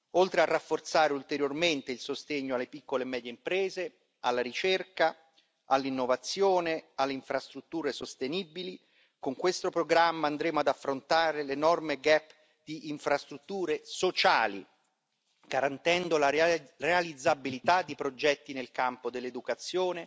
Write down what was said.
Oltre a rafforzare ulteriormente il sostegno alle piccole e medie imprese, alla ricerca, all'innovazione, alle infrastrutture sostenibili, con questo programma andremo ad affrontare l'enorme gap di infrastrutture sociali, garantendo la reale realizzabilità di progetti nel campo dell'educazione,